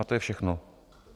A to je všechno.